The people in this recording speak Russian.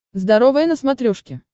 здоровое на смотрешке